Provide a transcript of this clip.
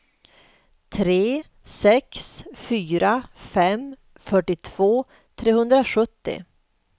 tre sex fyra fem fyrtiotvå trehundrasjuttio